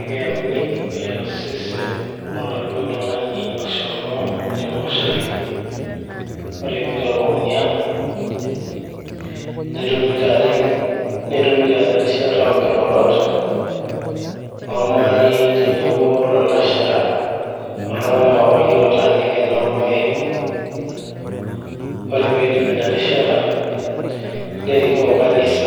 Ekeyauni osesen loladuo tung'ani oshomo te moshari, Ore peitabauni ang' netumi taata erishata oonkirorot olmarei tenebo lalashera oltung'anak opa akeyie ootaaniki naa olmarehemu, ore peidipi ina rishata nerikoo kanisa